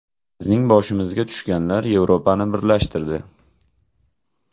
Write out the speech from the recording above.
Bizning boshimizga tushganlar Yevropani birlashtirdi.